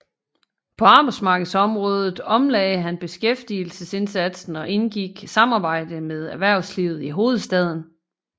På arbejdsmarkedsområdet omlagde han beskæftigelsesindsatsen og indgik samarbejde med erhvervslivet i hovedstaden